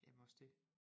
Jamen også det